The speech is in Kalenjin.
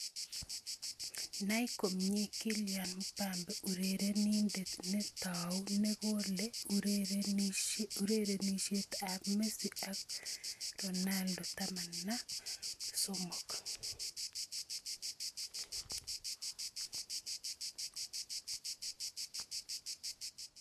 Nai komnye Kylian Mbappe, urerenindet ne tau nekole urerenisiet ab Messi ak Ronaldo 13.